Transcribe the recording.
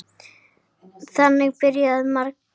Þannig byrja margar.